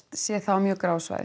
séð það á mjög gráu svæði